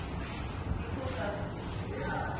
people doesn t